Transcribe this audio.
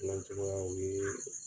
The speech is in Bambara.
n bɛ cogoya la n bɛ